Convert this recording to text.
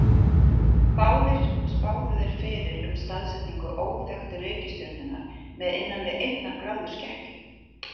Báðir spáðu þeir fyrir um staðsetningu óþekktu reikistjörnunnar með innan við einnar gráðu skekkju.